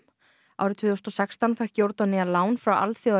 árið tvö þúsund og sextán fékk Jórdanía lán frá